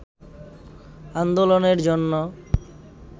আন্দোলনের জন্য